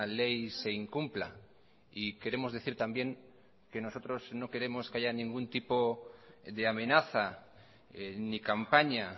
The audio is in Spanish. ley se incumpla y queremos decir también que nosotros no queremos que haya ningún tipo de amenaza ni campaña